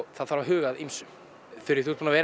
það þarf að huga að ýmsu þú ert búin að vera